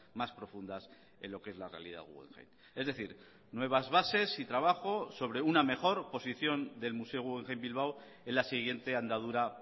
más profundas en lo que es la realidad guggenheim es decir nuevas bases y trabajo sobre una mejor posición del museo guggenheim bilbao en la siguiente andadura